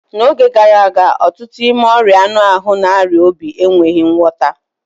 N'oge gara aga, ọtụtụ n'ime ọria anu ahụ na ọrịa obi enweghị ngwọta